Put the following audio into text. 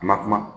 A na kuma